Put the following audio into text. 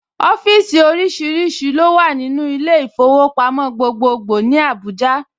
Ọ́fíìsì oríṣiríṣi ló wà nínú ilé ìfowópamọ́ gbogbogbòò ní ìlú Abuja